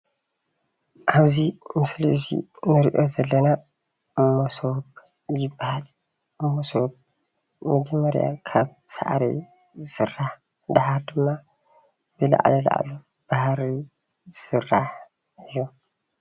ኣብዚ ምስሊ እዚ እንሪኦ ዘለና መሶብ ይበሃል፣ መሶብ መጀመርያ ካብ ሳዕሪ ዝስራሕ ድሓር ድማ ብላዕሊ ላዕሉ ብሃሪ ዝስራሕ እዩ፡፡